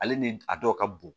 Ale ni a dɔw ka bon